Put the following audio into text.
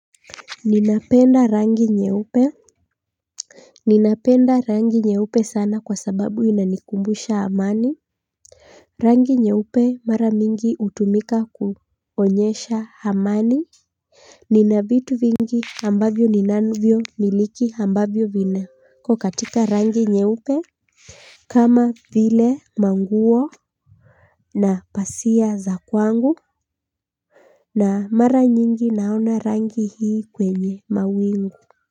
Ninapenda rangi nye upe ninapenda rangi nye upe sana kwa sababu inanikumbusha amani rangi nye upe mara mingi utumika kuonyesha hamani. Ninavitu vingi ambavyo ni nanuvyo miliki hambavyo vina kokatika rangi nye upe kama vile manguo na pasia za kwangu na mara nyingi naona rangi hii kwenye mawingu.